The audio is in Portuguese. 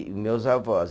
Meus avós.